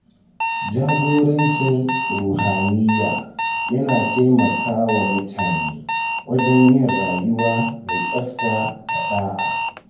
Jagorancin ruhaniya yana taimakawa mutane wajen yin rayuwa mai tsafta da ɗa’a.